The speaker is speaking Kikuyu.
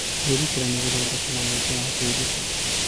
Kwĩrutĩra nĩ gũthondekaga mweke wa kwĩruta.